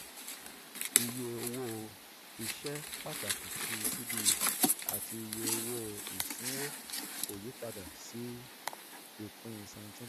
iye owó iṣẹ́ pàtàkì ti cbe àti iye owó ìsínwó kò yí padà sí ìpín cs] seventeen